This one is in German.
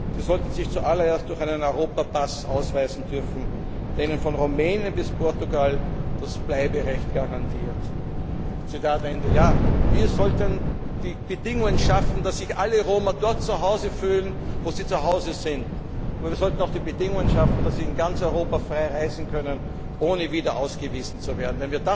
Sie sollten sich zu allererst durch einen Europa Pass ausweisen dürfen, der ihnen von Rumänien bis Portugal das Bleiberecht garantiert. Wir sollten die Bedingungen schaffen, dass sich alle Roma dort zuhause fühlen, wo sie zuhause sind. Wir sollten auch die Bedingungen schaffen, dass sie in ganz Europa frei reisen können, ohne wieder ausgewiesen zu werden.